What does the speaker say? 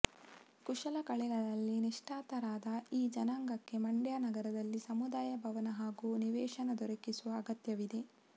ಕುಶಲಕಲೆಗಳಲ್ಲಿ ನಿಷ್ಣಾತರಾದ ಈ ಜನಾಂಗಕ್ಕೆ ಮಂಡ್ಯ ನಗರದಲ್ಲಿ ಸಮುದಾಯ ಭವನ ಹಾಗೂ ನಿವೇಶನ ದೊರಕಿಸುವ ಅಗತ್ಯವಿದೆ